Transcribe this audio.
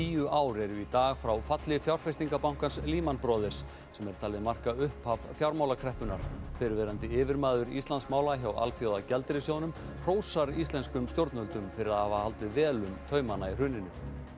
tíu ár eru í dag frá falli fjárfestingarbankans Lehman Brothers sem er talið marka upphaf fjármálakreppunnar fyrrverandi yfirmaður hjá Alþjóðagjaldeyrissjóðnum hrósar íslenskum stjórnvöldum fyrir að hafa haldið vel um taumana í hruninu